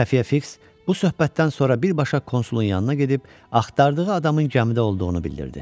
Xəfiyyə fiks bu söhbətdən sonra birbaşa konsulun yanına gedib axtardığı adamın gəmidə olduğunu bildirdi.